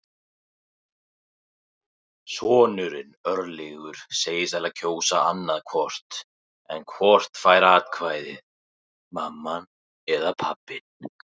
Sonurinn, Örlygur, segist ætla að kjósa annað hvort en hvort fær atkvæðið, mamman eða pabbinn?